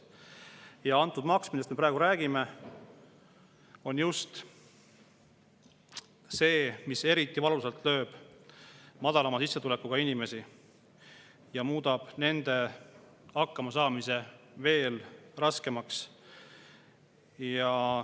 Ja maks, millest me praegu räägime, lööb eriti valusalt just madalama sissetulekuga inimesi ja muudab nende hakkamasaamise veel raskemaks.